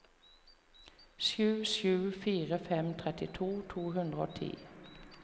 sju sju fire fem trettito to hundre og ti